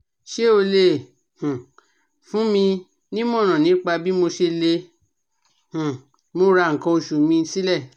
Ṣé o lè um fún mi nímọ̀ràn nípa bí mo ṣe lè um múra nkan oṣù mi sílẹ̀?